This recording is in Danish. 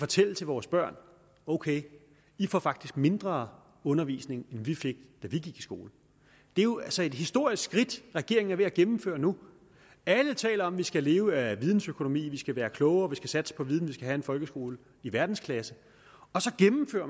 til vores børn ok i får faktisk mindre undervisning end vi fik da vi gik i skole det er jo altså et historisk skridt regeringen er ved at gennemføre nu alle taler om at vi skal leve af videnøkonomi at vi skal være klogere at vi skal satse på viden at have en folkeskole i verdensklasse